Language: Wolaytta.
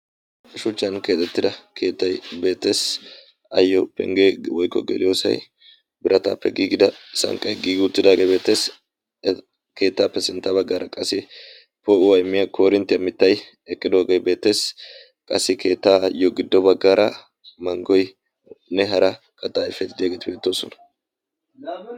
shuchchan keexettida keettay beettes. aayyo pengge woykko geliyosay birataappe giigida sanqqay giigi uttidaage beettes. keettaappe sintta baggaara qassi poo'uwa immiya koorinttiya mittay eqqidooge beettes. qassi keettaayyo giddo baggara manggoynne hara kattaa ayifeti diyageeti beettoosona.